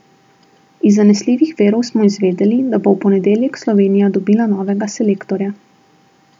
Iz zanesljivih virov smo izvedeli, da bo v ponedeljek Slovenija dobila novega selektorja.